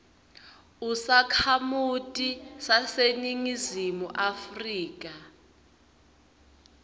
usakhamuti saseningizimu afrika